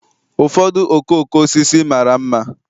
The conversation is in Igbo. Ụfọdụ okooko osisi mara mma